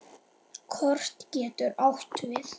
Kort getur átt við